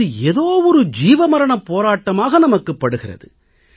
இது ஏதோ ஜீவமரணப் போராட்டமாக நமக்குப் படுகிறது